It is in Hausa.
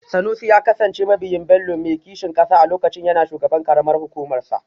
Sanusi ya kasance mabiyin Bello mai kishin kasa a lokacin yana shugaban karamar hukumarsa